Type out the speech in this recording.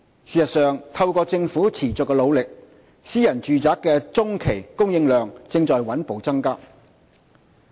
事實上，透過政府持續的努力，私人住宅的中期供應量正在穩步增加。